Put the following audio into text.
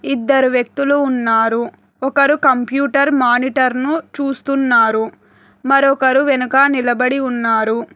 ఇద్దరు వ్యక్తులు ఉన్నారు ఒకరు కంప్యూటర్ మానిటర్ను చూస్తున్నారు మరొకరు వెనుక నిలబడి ఉన్నారు.